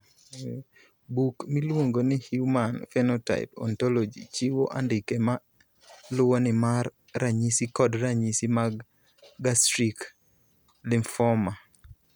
Buk miluongo ni Human Phenotype Ontology chiwo andike ma luwoni mar ranyisi kod ranyisi mag Gastric lymphoma.